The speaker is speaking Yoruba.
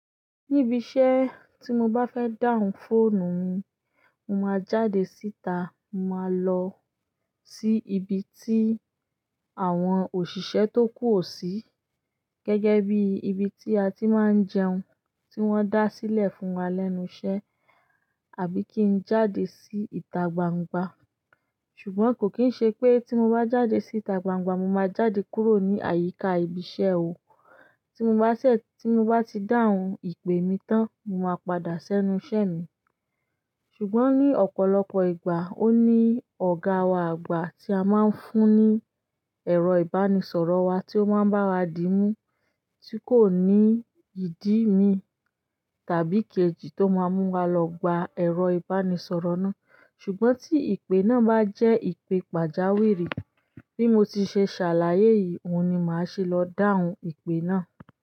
Níbi iṣẹ́ tí mo bá fẹ́ dáhùn phone mi, mo máa jáde síta, máa lọ sí ibi tí àwọn òṣìṣẹ́ tó kù o sì, gẹ́gẹ́ bí ibi tí a ti máa ń jẹun, tí wọ́n dá sílẹ̀ fún wa lẹ́nu iṣẹ́ àbí kí n jáde sí ìta gbangba. Ṣùgbọ́n kò kín ṣe pé tí mo bá jáde sí ìta gbangba, mo máa jáde kúrò ní àyíká ibi iṣẹ́ o. Tí mo bá ṣẹ̀, tí mo bá ti dáhùn ìpè mi tán, mo máa padà sẹ́nu iṣẹ́ mi. Ṣùgbọ́n ní ọ̀pọ̀lọpọ̀ ìgbà ó ní ọ̀gá wa àgbà tí a máa ń fún ní ẹ̀rọ ìbánisọ̀rọ̀ wa tí ó máa ń bá wa dí mú, tí kò ní ìdí mi tàbí kejì tó máa mú wa lọ gba ẹ̀rọ ìbánisọ̀rọ̀ náà. Ṣùgbọ́n tí ìpè náà bá jẹ́ ìpè pàjáwìrì bí mo ti ṣe ṣàlàyé yìí, òun ni màá ṣe lọ down ìpè náà.